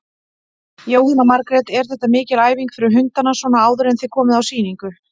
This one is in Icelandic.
Jóhanna Margrét: Er þetta mikil æfing fyrir hundana svona áður en þið komið á sýningu?